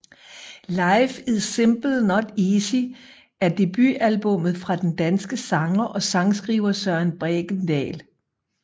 Life Is Simple Not Easy er debutalbummet fra den danske sanger og sangskriver Søren Bregendal